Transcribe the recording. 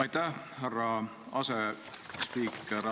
Aitäh, härra asespiiker!